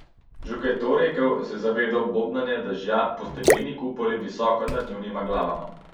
Že ko je to rekel, se je zavedel bobnanja dežja po stekleni kupoli visoko nad njunima glavama.